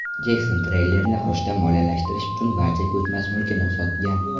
Jekson treylerni qurishni moliyalashtirish uchun barcha ko‘chmas mulkini sotgan.